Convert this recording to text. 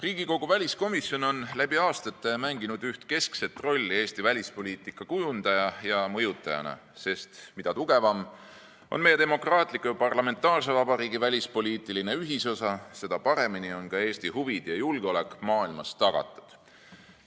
Riigikogu väliskomisjon on läbi aastate mänginud üht keskset rolli Eesti välispoliitika kujundaja ja mõjutajana, sest mida tugevam on meie demokraatliku ja parlamentaarse vabariigi välispoliitiline ühisosa, seda paremini on ka Eesti huvid ja julgeolek maailmas tagatud.